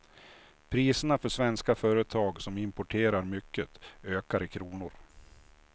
Priserna för svenska företag som importerar mycket ökar i kronor.